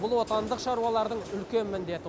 бұл отандық шаруалардың үлкен міндеті